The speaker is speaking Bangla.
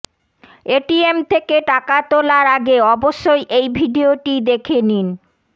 এটিএম থেকে টাকা তোলার আগে অবশ্যই এই ভিডিওটি দেখে নিন